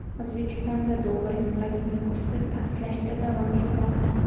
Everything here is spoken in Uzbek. O‘zbekistonda dollarning rasmiy kursi pastlashda davom etmoqda.